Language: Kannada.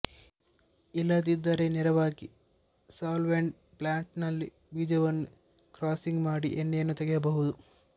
ಇಲ್ಲದಿದ್ದರೆ ನೇರವಾಗಿ ಸಾಲ್ವೆಂಟ್ ಪ್ಲಾಂಟ್ನಲ್ಲಿ ಬೀಜವನ್ನು ಕ್ರಾಸಿಂಗು ಮಾಡಿ ಎಣ್ಣೆಯನ್ನು ತೆಗೆಯಬಹುದು